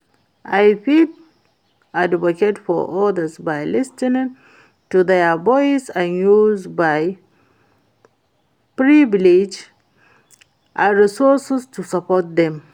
i fit advocate for odas by lis ten ing to their voice and use my privilege and resources to support dem.